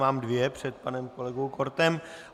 Mám dvě před panem kolegou Kortem.